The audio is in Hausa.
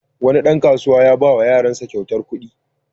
Wani ɗan kasuwa ya ba wa yaransa kyautar kuɗi.